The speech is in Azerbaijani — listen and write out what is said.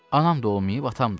Anam da olmayıb, atam da.